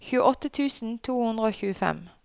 tjueåtte tusen to hundre og tjuefem